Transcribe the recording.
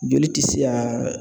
Joli tɛ se ka